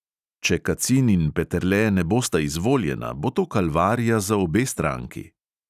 Če kacin in peterle ne bosta izvoljena, bo to kalvarija za obe stranki.